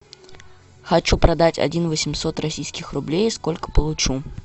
хочу продать один восемьсот российских рублей сколько получу